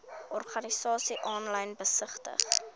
organisasies aanlyn besigtig